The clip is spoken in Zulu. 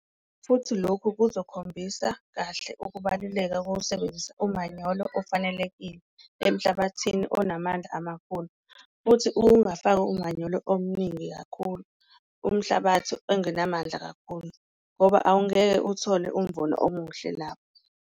Futhi lokhu kuzokhombisa kahle ukubaluleka kokusebenzisa umanyolo ofanelekile emhlabathini onamandla amakhulu, futhi ukungafaki umanyolo omningi kakhulu kulowo umhlabathi engenamandla kakhulu ngoba awungeke uthole umvuno omuhle lapho.